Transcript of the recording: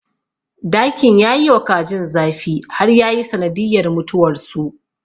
Dakin ya yiwa kajin zafi har yayi sanadiyyar mutuwarsu.